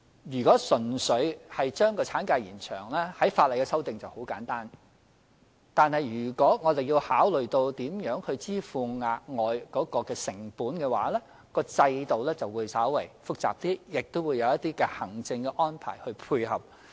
如果純粹將產假延長，相關的法例修訂很簡單；但如果要考慮如何支付涉及的額外成本，在制度上便稍為複雜，亦須有一些行政安排配合。